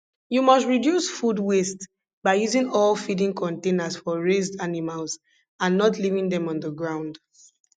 you must reduce food waste by using all feeding containers for raised animals and not leaving them on the ground